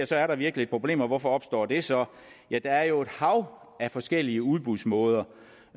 så er der virkelig et problem og hvorfor opstår det så ja der er jo et hav af forskellige udbudsmåder